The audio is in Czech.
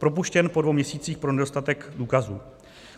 Propuštěn po dvou měsících pro nedostatek důkazů.